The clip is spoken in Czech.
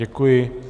Děkuji.